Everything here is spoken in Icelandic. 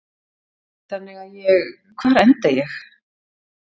Þannig að ég, hvar enda ég?